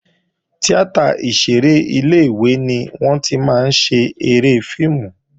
Tíátà ìṣeré ilé-ìwé ni wọ́n tí máa ń ṣeré fíìmù